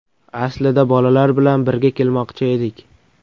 Aslida bolalar bilan birga kelmoqchi edik.